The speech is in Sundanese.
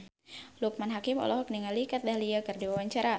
Loekman Hakim olohok ningali Kat Dahlia keur diwawancara